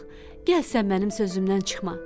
gəl sən mənim sözümdən çıxma.